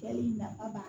nafa b'a la